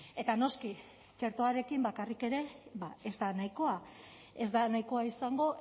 eta noski txertoarekin bakarrik ere ba ez da nahikoa ez da nahikoa izango